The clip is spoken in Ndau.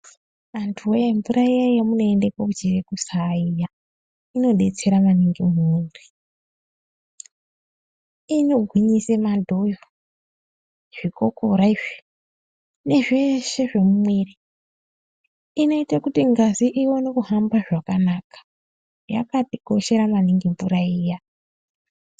Antu woye mvura iya yamunoenda kuchera mvura kusaa inodetsera maningi muntu. Inogwinyisa madhoyo zvikokora izvi nezveshe zvemumuwiri, inoita kuti ngazi iwone kuhamba zvakanaka yakatikoshera maningi mvura iya